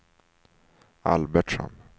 Albertsson